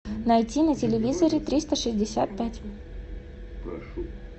найти на телевизоре триста шестьдесят пять